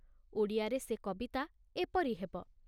ଓଡ଼ିଆରେ ସେ କବିତା ଏପରି ହେବ